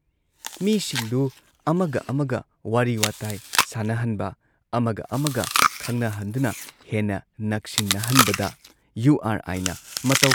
ꯃꯤꯁꯤꯡꯗꯨ ꯑꯃꯒ ꯑꯃꯒ ꯋꯥꯔꯤ ꯋꯥꯇꯥꯏ ꯁꯥꯟꯅꯍꯟꯕ, ꯑꯃꯒ ꯑꯃꯒ ꯈꯪꯅꯍꯟꯗꯨꯅ ꯍꯦꯟꯅ ꯅꯛꯁꯤꯟꯅꯍꯟꯕꯗ ꯌꯨ ꯑꯥꯔ ꯑꯥꯏꯅ ꯃꯇꯧ